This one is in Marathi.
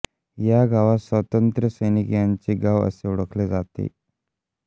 या गावास स्वातंत्र्यसैनिक यांचे गाव असे ओळखले जाते